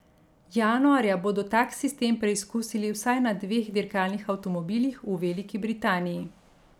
Januarja bodo tak sistem preizkusili vsaj na dveh dirkalnih avtomobilih v Veliki Britaniji.